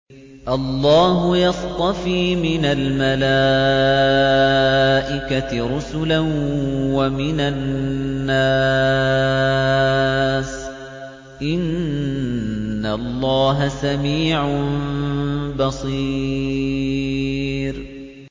اللَّهُ يَصْطَفِي مِنَ الْمَلَائِكَةِ رُسُلًا وَمِنَ النَّاسِ ۚ إِنَّ اللَّهَ سَمِيعٌ بَصِيرٌ